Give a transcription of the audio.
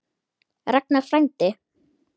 Ragnar frændi.